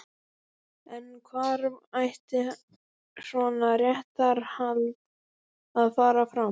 En hvar ætti svona réttarhald að fara fram?